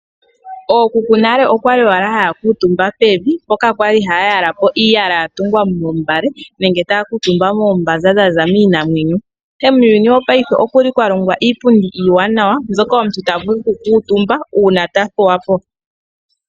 Ookuku nale okwali owala haya kuutumba pevi mpoka kwali haya yala po iiyala yatungwa moombale nenge taya kuutumba moombaza dhaza kiinamwenyo . Ihe muuyuni wongashingeyi okuli kwa longwa iipundi iiwanawa mbyoka omuntu tavulu okukuutumba uuna tathuwapo.